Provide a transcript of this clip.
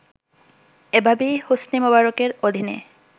এভাবেই হোসনি মোবারকের অধীনে